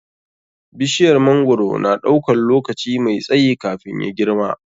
Bishiyar mangwaro na ɗaukan lokaci mai tsayi kafin ya girma.